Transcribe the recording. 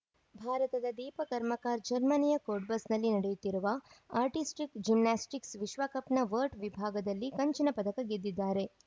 ಭಾರತದ ದೀಪ ಕರ್ಮಕ ಜರ್ಮನಿಯ Cottbus ನಲ್ಲಿ ನಡೆಯುತ್ತಿರುವ ಆರ್ಟಿಸ್ಟಿಕ್ ಜಿಮೆಸ್ಟಿಕ್ ವಿಶ್ವ ಕಪ್ ನ ವರ್ಡ್ ವಿಭಾಗದಲ್ಲಿ ಕಂಚಿನ ಪದಕ ಗೆದಿದ್ದಾರೆ